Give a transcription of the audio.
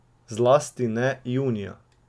Zlasti ne junija.